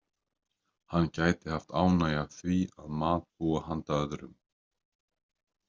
Hann gæti haft ánægju af því að matbúa handa öðrum.